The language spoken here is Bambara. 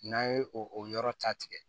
N'an ye o yɔrɔ ta tigɛ